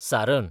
सारन